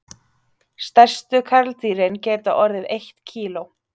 Stærstu karldýrin geta orðið eitt kíló.